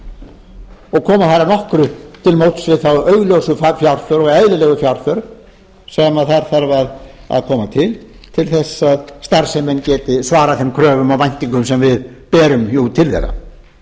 koma þar að nokkru til móts við þá augljósu fjárþörf og eðlilegu fjárþörf sem þar þarf að koma til til þess að starfsemin geti svarað þeim kröfum og væntingum sem við berum jú til